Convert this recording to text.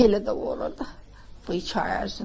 Elə də olurdu bu iki ay ərzində.